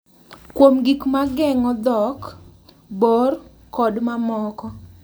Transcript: Kuom gik ma geng’o dhok, bor, kod mamoko.